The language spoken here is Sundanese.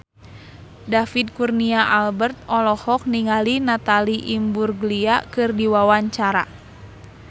David Kurnia Albert olohok ningali Natalie Imbruglia keur diwawancara